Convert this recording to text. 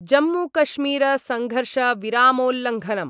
जम्मूकश्मीरसंघर्षविरामोल्लंघनम्